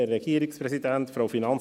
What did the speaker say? Kommissionspräsident der FiKo.